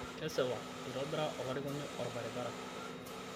kesipa eitobira olarikoni olbaribara